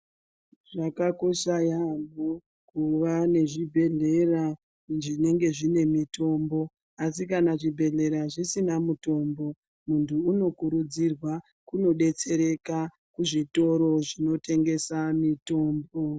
Zvakakosha yaamho kuva nezvibhedhlera zvinenge zvine mitombo. Asi kana zvibhedhlera zvisina mutombo muntu unokurudzirwa kunobetsereka kuzvitoro zvinotengesa mitombo.